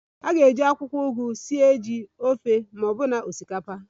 A ga-eji akwụkwọ ugu sie ji, ofe ma ọbụna osikapa